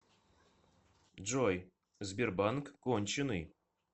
джой сбербанк конченый